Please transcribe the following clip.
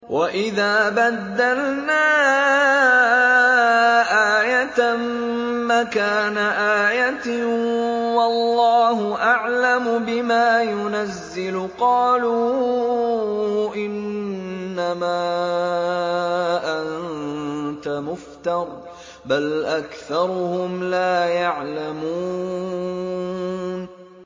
وَإِذَا بَدَّلْنَا آيَةً مَّكَانَ آيَةٍ ۙ وَاللَّهُ أَعْلَمُ بِمَا يُنَزِّلُ قَالُوا إِنَّمَا أَنتَ مُفْتَرٍ ۚ بَلْ أَكْثَرُهُمْ لَا يَعْلَمُونَ